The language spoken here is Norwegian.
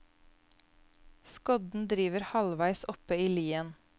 Skodden driver halvveis oppe i lien.